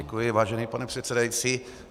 Děkuji, vážený pane předsedající.